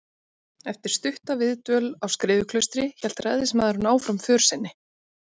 Eftir stutta viðdvöl á Skriðuklaustri hélt ræðismaðurinn áfram för sinni.